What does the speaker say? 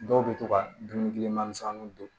Dɔw bɛ to ka dumunima misɛnninw don